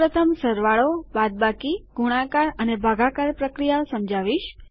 હું સૌ પ્રથમ સરવાળોબાદબાકીગુણાકાર અને ભાગાકાર પ્રક્રિયાઓ સમજાવીશ